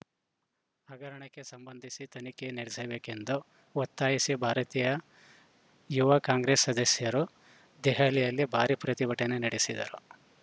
ಹಗರಣಕ್ಕೆ ಸಂಬಂಧಿಸಿ ತನಿಖೆ ನಡೆಸಬೇಕೆಂದು ಒತ್ತಾಯಿಸಿ ಭಾರತೀಯ ಯುವ ಕಾಂಗ್ರೆಸ್‌ ಸದಸ್ಯರು ದೆಹಲಿಯಲ್ಲಿ ಭಾರಿ ಪ್ರತಿಭಟನೆ ನಡೆಸಿದರು